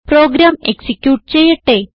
programme execute ചെയ്യട്ടെ